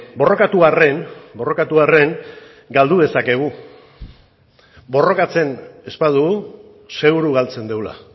borrokatu arren borrokatu arren galdu dezakegu borrokatzen ez badugu seguru galtzen dugula